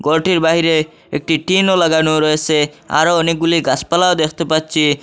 ঘরটির বাহিরে একটি টিনও লাগানো রয়েসে আরো অনেকগুলি গাসপালাও দেখতে পাচ্ছি।